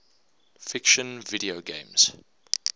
fiction video games